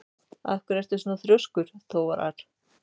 Af hverju ertu svona þrjóskur, Þórar?